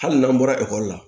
Hali n'an bɔra ekɔli la